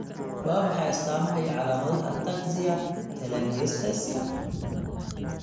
Waa maxay astamaha iyo calaamadaha Ataxia telangiectasia?